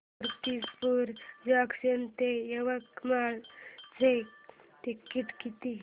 Murtijapur junction ते यवतमाळ चे तिकीट किती